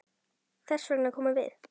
Þess vegna komum við.